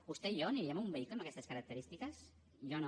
vostè i jo aniríem en un vehicle amb aquestes característiques jo no